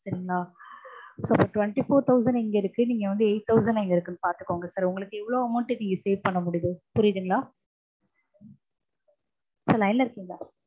so இப்போ twenty four thousand எங்க இருக்கு நீங்க வந்து eight thousand எங்க இருக்குன்னு பாத்துக்கோங்க sir உங்களுக்கு எவ்வளவு amount நீங்க save பண்ண முடியுது. புரியுதுங்களா?